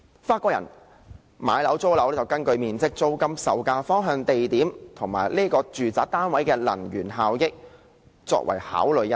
法國人買樓或租樓，是根據面積、租金、售價、方向、地點及住宅單位的能源效益考慮。